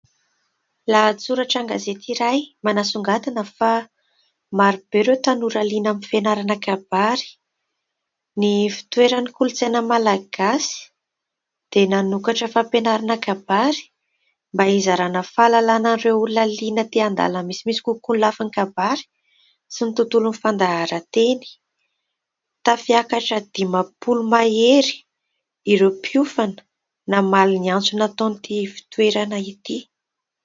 Lahatsoratra an-gazety iray manasongadina fa maro be ireo tanora liana amin'ny fianarana kabary. Ny ivotoeran'ny kolontsaina malagasy dia nanokatra fampianarana kabary mba izarana fahalalana an'ireo olona liana te handalina misimisy kokoa ny lafiny kabary sy ny tontolon'ny fandaharan-teny. Tafakatra dimampolo mahery ireo mpiofana namaly ny antso nataon'ity ivotoerana ity.